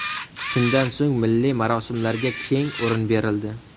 Shundan so‘ng milliy marosimlarga keng o‘rin berildi.